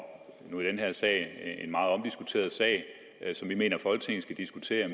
nu i den her sag en meget omdiskuteret sag som vi mener at folketinget skal diskutere